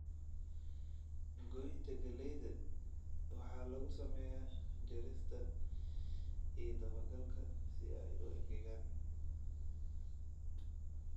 Goynta galleyda waxaa lagu sameeyaa jarista iyo daba-galka si ay u engegaan.